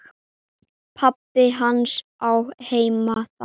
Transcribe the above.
Pabbi hans á heima þar.